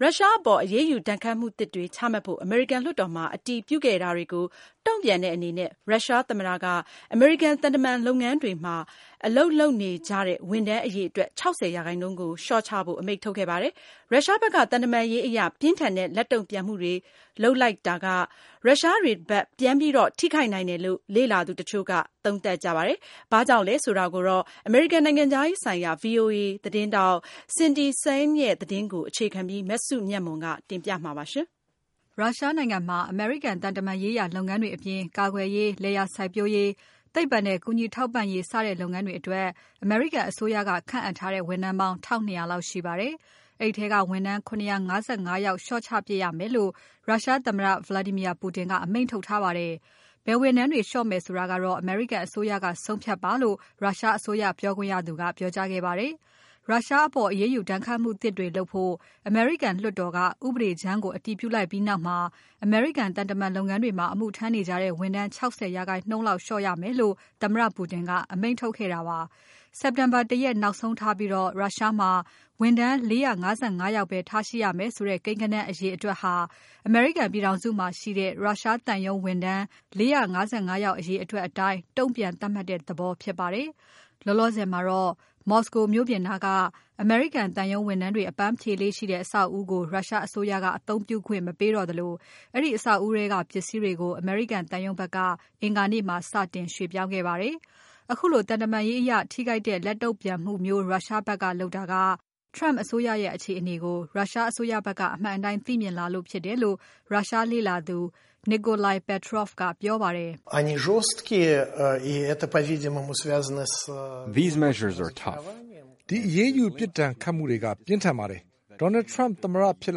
ရုရှားအပေါ် အရေးယူ ဒဏ်ခတ်မှု သစ်တွေ ချမှတ်ဖို့ အမေရိကန် လွှတ်တော်မှာ အတည်ပြုခဲ့တာကို တုံ့ပြန်တဲ့ အနေနဲ့ ရုရှားသမ္မတက အမေရိကန် သံတမန် လုပ်ငန်းတွေမှာ အလုပ်လုပ်နေကြတဲ့ ဝန်ထမ်း အရေအတွက် ၆၀ ရာခိုင်နှုန်းကို လျှော့ချဖို့ အမိန့်ထုတ်ခဲ့ပါတယ်။ ရုရှားဖက်က သံတမန်ရေးအရ ပြင်းထန်တဲ့ လက်တုံ့ပြန်မှုတွေ လုပ်လိုက်တာက ရုရှားတွေဖက် ပြန်ပြီး ထိခိုက်နိုင်တယ်လို့ လေ့လာသူတချို့က သုံးသပ်ကြပါတယ်။ ဘာကြောင့်လဲ ဆိုတာကို အမေရိကန် နိုင်ငံခြားရေးဆိုင်ရာ VOA သတင်းထောက် Cindy Saine ရဲ့ သတင်းကို အခြေခံပြီး မစုမြတ်မွန်က တင်ပြပါမယ်။ ရုရှားနိုင်ငံမှာ အမေရိကန် သံတမန်ရေးရာ လုပ်ငန်းတွေအပြင် ကာကွယ်ရေး၊ လယ်ယာစိုက်ပျိုးရေး၊ သိပ္ပံနဲ့ ကူညီထောက်ပံ့ရေး စတဲ့ လုပ်ငန်းတွေ အတွက် အမေရိကန်အစိုးရက ခန့်အပ်ထားတဲ့ ဝန်ထမ်းပေါင်း ၁၂၀၀ လောက်ရှိပါတယ်။ အဲဒီထဲက ဝန်ထမ်း ၇၅၅ ယောက် လျှော့ပစ်ရမယ်လို့ ရုရှားသမ္မတ Vladmir Putin က အမိန့်ထုတ် ထားပါတယ်။ ဘယ်ဝန်ထမ်းတွေ လျှော့မယ် ဆိုတာကတော့ အမေရိကန် အစိုးရက ဆုံးဖြတ်ပါလို့ ရုရှားအစိုးရ ပြောခွင့်ရသူက ပြောကြားခဲ့ပါတယ်။ ရုရှားအပေါ် အရေးယူ ဒဏ်ခတ်မှုသစ်တွေ လုပ်ဖို့ အမေရိကန် လွှတ်တော်က ဥပဒေကြမ်းကို အတည်ပြုလိုက်ပြီး နောက်မှာ အမေရိကန် သံတမန်လုပ်ငန်းတွေမှာ အမှုထမ်းနေကြတဲ့ ဝန်ထမ်း ၆၀ ရာခိုင်နှုန်းလောက် လျှော့ရမယ်လို့ သမ္မတပူတင်က အမိန့်ထုတ်ခဲ့တာပါ။ စက်တင်ဘာ ၁ ရက် နောက်ဆုံးထားပြီး ရုရှားမှာ ဝန်ထမ်း ၄၅၅ ယောက်ပဲ ထားရှိရမယ်ဆိုတဲ့ ကိန်းဂဏန်း အရေအတွက်ဟာ အမေရိကန် ပြည်ထောင်စုမှာ ရှိတဲ့ ရုရှားသံရုံးဝန်ထမ်း ၄၅၅ ယောက် အရေအတွက် အတိုင်း တုံ့ပြန် သတ်မှတ်တဲ့ သဘောဖြစ်ပါတယ်။ လောလောဆယ် မှာတော့ မော်စကိုမြို့ပြင်နားမှာ ရှိတဲ့ အမေရိကန် သံရုံးဝန်ထမ်းတွေ အပန်းဖြေလေ့ရှိတဲ့ အဆောက်အဦးကို ရုရှားအစိုးရက အသုံးပြုခွင့် မပေးတော့သလို အဲဒီ အဆောက်အဦး ထဲက ပစ္စည်းတွေကို အမေရိကန်သံရုံးဖက်က အင်္ဂါနေ့မှာ စတင် ရွှေ့ပြောင်းခဲ့ပါတယ်။ ခုလို သံတမန်ရေးအရ ထိခိုက်တဲ့ လက်တုံ့ပြန်မှုမျိုး ရုရှားဖက်က လုပ်တာက Trump အစိုးရရဲ့အခြေအနေကို ရုရှားအစိုးရဖက်က အမှန်အတိုင်း သိမြင်လာကြလို့ ဖြစ်တယ်လို့ ရုရှားလေ့လာသူ Nikolai Petrov ကပြောပါတယ်။ “ ပြင်းထန်ပါတယ်။ Donald Trump သမ္မတဖြစ်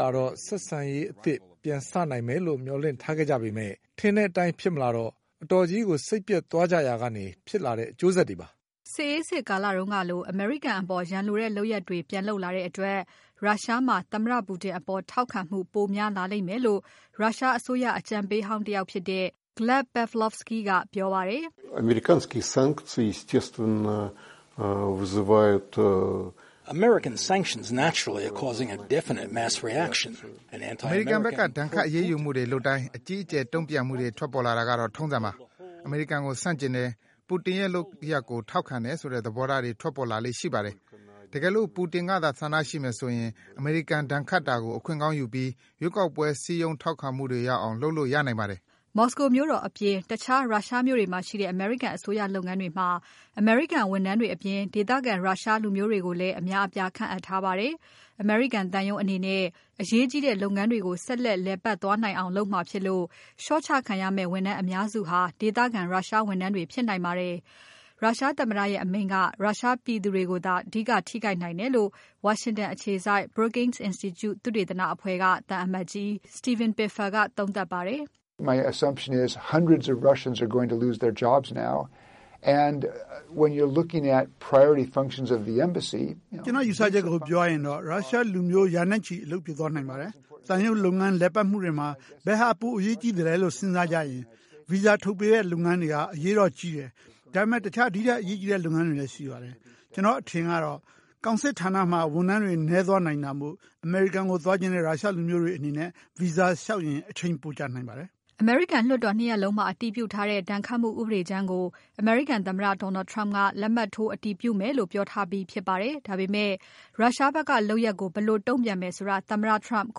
လာတော့ ဆက်ဆံရေးသစ် ပြန်စနိုင်မယ်လို့ မျှော်လင့်ထားခဲ့ ကြပေမဲ့ ထင်တဲ့အတိုင်း ဖြစ်မလာတော့ အတော်ကြီး စိတ်ပျက်သွားကြရာကနေ ဖြစ်လာတဲ့ အကျိုးဆက်တွေပါ။ ” စစ်အေးစစ် ကာလတုန်းကလို အမေရိကန် အပေါ် ရန်လိုတဲ့ လုပ်ရပ်တွေ ပြန်လုပ်လာတဲ့ အတွက် ရုရှားမှာ သမ္မတပူတင် အပေါ် ထောက်ခံမှု ပိုများလာလိမ့်မယ်လို့ ရုရှားအစိုးရ အကြံပေးဟောင်း တယောက်ဖြစ်တဲ့ Gleb Pavlovsky ကပြောပါတယ်။ “ အမေရိကန်ဖက်က ဒဏ်ခတ်အရေးယူမှုတွေ လုပ်တိုင်း အကြီးအကျယ် တုံ့ပြန်မှုတွေ ထွက်ပေါ်လာတာကတော့ ထုံးစံပါ။ အမေရိကန်ကို ဆန့်ကျင်တယ်။ ပူတင်ရဲ့ လုပ်ရပ်ကို ထောက်ခံတယ် ဆိုတဲ့ သဘောထားတွေ ထွက်ပေါ်လာလေ့ ရှိပါတယ်။ တကယ်လို့ ပူတင်ကသာ ဆန္ဒရှိမယ်ဆိုရင် အမေရိကန် ဒဏ်ခတ်တာကို အခွင့်ကောင်းယူပြီး ရွေးကောက်ပွဲ စည်းရုံးထောက်ခံမှုတွေ ရအောင် လုပ်လို့ ရနိုင်ပါတယ်။ ” မော်စကို မြို့တော် အပြင် တခြား ရုရှားမြို့တွေမှာ ရှိတဲ့ အမေရိကန် အစိုးရ လုပ်ငန်းတွေမှာ အမေရိကန် ဝန်ထမ်းတွေ အပြင် ဒေသခံ ရုရှားလူမျိုးတွေ ကိုလည်း အများအပြား ခန့်အပ်ထားပါတယ်။ အမေရိကန် သံရုံးအနေနဲ့ အရေးကြီးတဲ့ လုပ်ငန်းတွေကို ဆက်လက် လည်ပါတ်သွားနိုင်အောင် လုပ်မှာဖြစ်လို့ လျှော့ချခံရမယ့် ဝန်ထမ်းအများစုဟာ ဒေသခံ ရုရှားဝန်ထမ်းတွေ ဖြစ်နိုင်ပါတယ်။ ရုရှားသမ္မတရဲ့အမိန့်က ရုရှားပြည်သူတွေကိုသာ အဓိက ထိခိုက်နိုင်တယ်လို့ဝါရှင်တန်အခြေစိုက် Brookings Institute သုတေသနအဖွဲ့က သံအမတ်ကြီး Steven Pifer ကသုံးသပ်ပါတယ်။ “ ကျွန်တော့် ယူဆချက်ကို ပြောရရင်တော့ ရုရှားလူမျိုး ရာနဲ့ချီ အလုပ်ပြုတ် သွားနိုင်ပါတယ်။ သံရုံးလုပ်ငန်း လည်ပတ်မှုတွေမှာ ဘယ်ဟာ ပိုအရေးကြီးသလဲလို့ စဉ်းစားကြရင် Visa ထုတ်ပေးတဲ့ လုပ်ငန်းတွေက အရေးတော့ကြီးတယ်။ ဒါပေမဲ့ တခြားဒီထက် အရေးကြီးတဲ့ လုပ်ငန်းတွေ ရှိပါတယ်။ ကျွန်တော့်အထင် ပြောရရင်တော့ ကောင်စစ်ဌာနမှာ ဝန်ထမ်းတွေ နည်းသွားနိုင်တာမို့ အမေရိကန် သွားချင်တဲ့ ရုရှားလူမျိုးတွေ အနေနဲ့ Visa လျှောက်ရင် အချိန်ပိုကြာ သွားနိုင်ပါတယ်။” လွှတ်တော် ၂ ရပ်လုံးမှာ အတည်ပြုထားတဲ့ ဒဏ်ခတ်မှု ဥပဒေကြမ်းကို အမေရိကန် သမ္မတ Donald Trump က လက်မှတ်ထိုး အတည်ပြုမယ်လို့ ပြောထားပြီး ဖြစ်ပါတယ်။ ဒါပေမဲ့ ရုရှားဖက်က လုပ်ရပ်ကို ဘယ်လို တုံ့ပြန်မလဲ ဆိုတာ သမ္မတ Trump က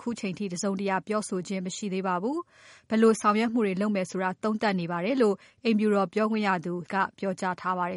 ခုထိ တစုံတရာ ပြောဆိုခြင်း မရှိသေးပါဘူး။ ဘယ်လို ဆောင်ရွက်မှုတွေ လုပ်မယ်ဆိုတာကို သုံးသပ်နေပါတယ်လို့ အိမ်ဖြူတော်ပြောခွင့်ရသူ Sarah Huckabee Sanders ကပြောကြားထားပါတယ်